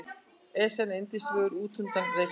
Esjan er yndisfögur utanúr Reykjavík.